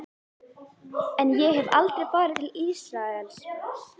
En ég hef aldrei farið til Ísraels.